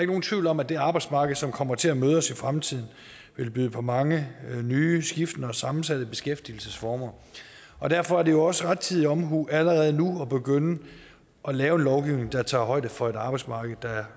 nogen tvivl om at det arbejdsmarked som kommer til at møde os i fremtiden vil byde på mange nye skiftende og sammensatte beskæftigelsesformer derfor er det også rettidig omhu allerede nu at begynde at lave lovgivning der tager højde for et arbejdsmarked der